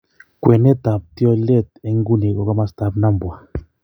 kwenet ap tyoleet en inguni ko kamastap Nambwa